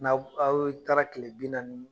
N'aw aw taara kile bi naani